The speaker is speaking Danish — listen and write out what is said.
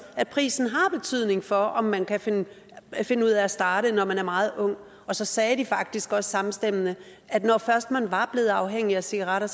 at prisen har betydning for om man kan finde finde ud af at starte når man er meget ung og så sagde de faktisk også samstemmende at når først man var blevet afhængig af cigaretter